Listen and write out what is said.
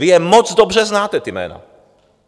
Vy je moc dobře znáte, ta jména.